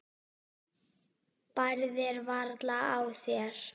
Bærðir varla á þér.